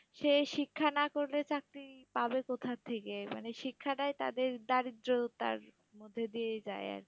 সে শিক্ষা না করলে চাকরি পাবে কোথার থেকে? মানে শিক্ষাটাই তাদের দারিদ্রতার মধ্যে দিয়ে যায় আরকি,